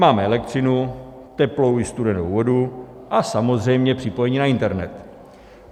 Máme elektřinu, teplou i studenou vodu a samozřejmě připojení na internet.